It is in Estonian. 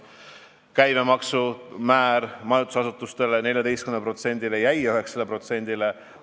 Majutusasutuste käibemaksu määra taheti tõsta 14%-le, see jäi 9%-le.